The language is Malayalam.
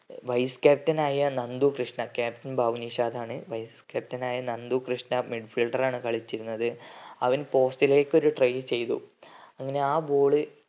vice captain ആയ നന്ദു കൃഷ്ണ captain ഭാവ്നിഷാദ് ആണ് vice captain ആയ നന്ദു കൃഷ്ണ middle fielder ആണ് കളിച്ചിരുന്നത് അവൻ post ലേക്ക് ഒരു trial ചെയ്തു അങ്ങനെ ആ ball